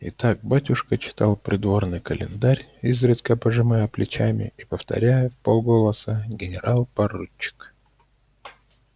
и так батюшка читал придворный календарь изредка пожимая плечами и повторяя в пол голоса генерал-поручик